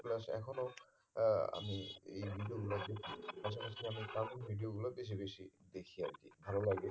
plus এখনো আহ আমি এই video গুলোর থেকে আমি cartoon video বেশি বেশি দেখি আর কি ভালো লাগে